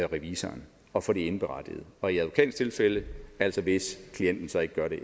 revisoren og for de indberettede og i advokatens tilfælde altså hvis klienten så ikke gør det